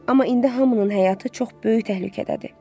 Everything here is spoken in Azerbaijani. Amma indi hamının həyatı çox böyük təhlükədədir.